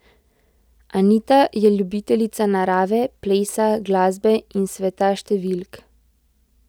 Anita je ljubiteljica narave, plesa, glasbe in sveta številk.